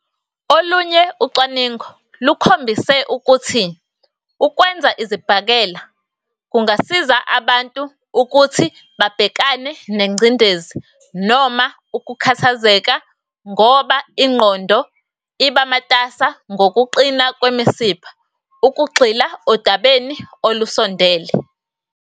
Olunye ucwaningo lukhombisile ukuthi ukwenza izibhakela kungasiza abantu ukuthi babhekane nengcindezi noma ukukhathazeka ngoba ingqondo iba matasa ngokuqina kwemisipha ukugxila odabeni olusondele.